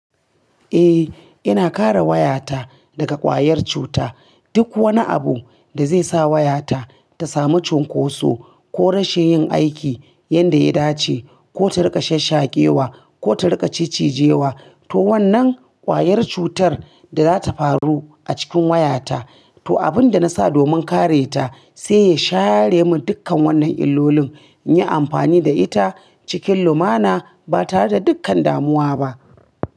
Eh, ina kare wayata daga ƙwayar cuta. Duk wani abu da zai sa wayata ta samu cunkoso ko rashin yin aiki yanda ya dace ko ta riƙa shashshakewa ko ta riƙa ciccijewa, to wannan ƙwayar cutar da zata faru a cikin wayata. To abin da na sa domin kare ta sai ya share min dukkan wannan illolin, in yi amfani da ita cikin lumana ba tare da dukkan damuwa ba.